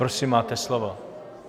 Prosím, máte slovo.